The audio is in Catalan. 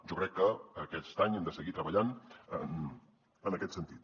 jo crec que aquest any hem de seguir treballant en aquest sentit